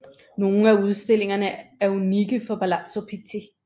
Nogle af udstillingerne er unikke for Palazzo Pitti